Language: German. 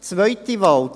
Zweiten Wahl: